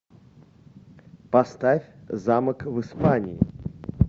поставь замок в испании